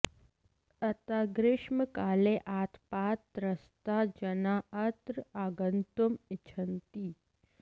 अतः ग्रीष्मकाले आतपात् त्रस्ताः जनाः अत्र आगन्तुम् इच्छन्ति